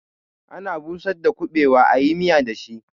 Ana busar da kubewa ayi miya da shi.